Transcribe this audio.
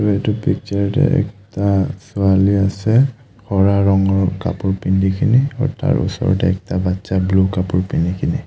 এইটো পিকচাৰ তে ছোৱালী আছে ৰঙৰ কাপোৰ পিন্ধি কেনে আৰু তাৰ ওচৰতে ব্লু কাপোৰ পিন্ধি কিনে।